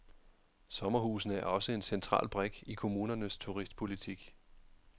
Sommerhusene er også en central brik i kommunernes turistpolitik.